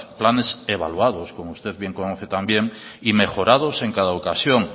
planes evaluados como usted bien conoce también y mejorados en cada ocasión